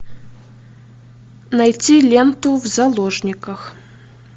найти ленту в заложниках